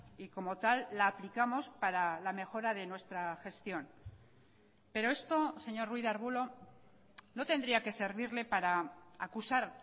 y como tal la aplicamos para la mejora de nuestra gestión pero esto señor ruiz de arbulo no tendría que servirle para acusar